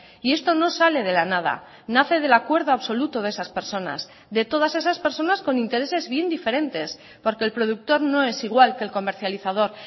y esto no sale de la nada nace del acuerdo absoluto de esas personas de todas esas personas con intereses bien diferentes porque el productor no es igual que el comercializador